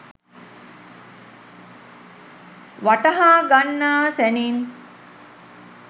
වටහා ගන්නා සැණින්